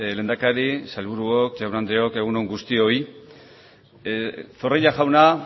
lehendakari sailburuok jaun andreok egun on guztioi zorrilla jauna